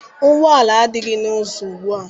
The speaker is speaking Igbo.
Ụgbọala adịghị n'ụzọ ugbua.